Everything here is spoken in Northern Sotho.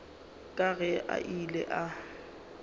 ka ge a ile a